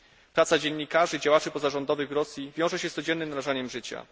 Praca dziennikarzy i działaczy pozarządowych Rosji wiąże się z codziennym narażaniem życia.